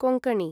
Konkani